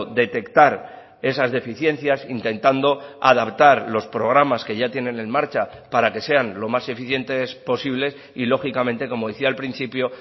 detectar esas deficiencias intentando adaptar los programas que ya tienen en marcha para que sean lo más eficientes posibles y lógicamente como decía al principio